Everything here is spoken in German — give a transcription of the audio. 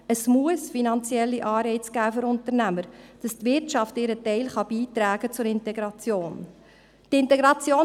Es muss finanzielle Anreize für Unternehmer geben, damit die Wirtschaft ihren Teil zur Integration beitragen kann.